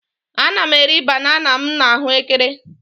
Ana m eri banana m na ahuekere